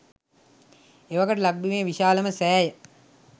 එවකට ලක්බිමේ විශාලම සෑය